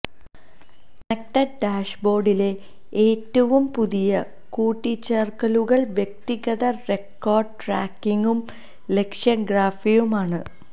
connected ഡാഷ്ബോർഡിലെ ഏറ്റവും പുതിയ കൂട്ടിച്ചേർക്കലുകൾ വ്യക്തിഗത റെക്കോർഡ് ട്രാക്കിംഗും ലക്ഷ്യം ഗ്രാഫിയും ആണ്